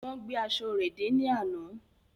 Wón gbé aṣọ rẹ dé ní àna.